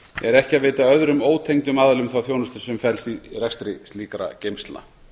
er ekki að veita öðrum ótengdum aðilum þá þjónustu sem felst í rekstri slíkra geymslna